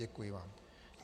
Děkuji vám.